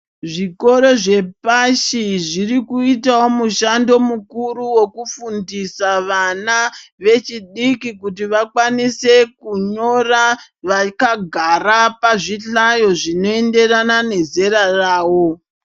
Zvikoro zvepashi zviro kuitawo mushando mukuru wekufundisa vana vechidiki kuti vakwanise ku nyora vakagara pazvi hlayo zvino enderana nezera ravo.